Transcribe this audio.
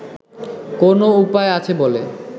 কোনও উপায় আছে বলে